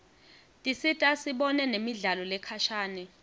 tisita sibone nemidlalo lekhashane